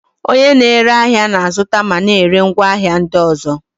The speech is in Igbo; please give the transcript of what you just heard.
Onye na-ere ahịa na-azụta ma na-ere ngwaahịa ndị ọzọ.